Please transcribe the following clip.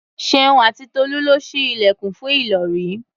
Ṣeun àti Tolú lọ ṣí ilẹ̀kùn fún Ìlọ̀rí.